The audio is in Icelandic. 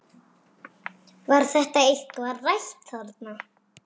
Var þetta eitthvað rætt þarna?